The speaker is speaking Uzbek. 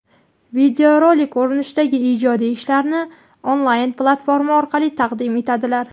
videorolik ko‘rinishidagi ijodiy ishlarini onlayn platforma orqali taqdim etadilar.